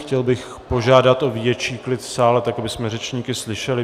Chtěl bych požádat o větší klid v sále, abychom řečníky slyšeli.